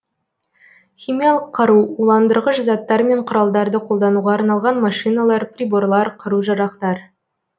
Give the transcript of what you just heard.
химиялық қару уландырғыш заттар мен құралдарды қолдануға арналған машиналар приборлар қару жарақтар